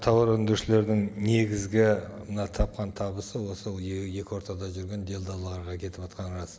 тауар өндірушілердің негізгі мына тапқан табысы осы екі ортада жүрген делдалдарға кетіватқаны рас